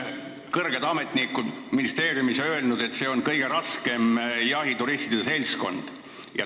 Kõrged ametnikud ministeeriumis on öelnud, et see on kõige raskem jahituristide seltskond.